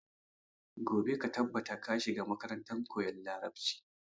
Gobe ka tabbata ka shiga makarantar koyan larabci!